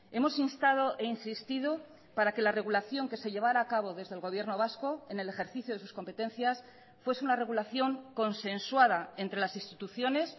hemos instado e insistido para que la regulación que se llevara a cabo desde el gobierno vasco en el ejercicio de sus competencias fuese una regulación consensuada entre las instituciones